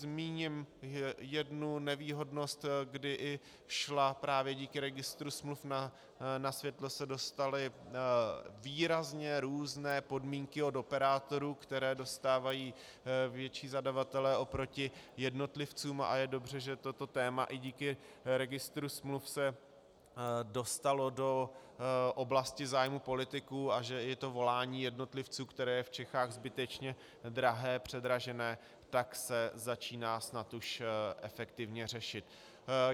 Zmíním jednu nevýhodnost, kdy i šla právě díky registru smluv, na světlo se dostaly výrazně různé podmínky od operátorů, které dostávají větší zadavatelé oproti jednotlivcům, a je dobře, že toto téma i díky registru smluv se dostalo do oblasti zájmu politiků a že je to volání jednotlivců, které je v Čechách zbytečně drahé, předražené, tak se začíná snad už efektivně řešit.